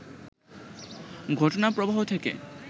ঘটনাপ্রবাহ থেকে